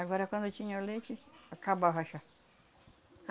Agora quando eu tinha o leite, acabava chá.